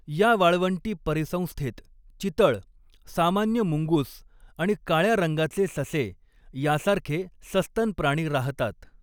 या वाळवंटी परिसंस्थेत चितळ, सामान्य मुंगुस आणि काळ्या रंगाचे ससे यासारखे सस्तन प्राणी राहतात.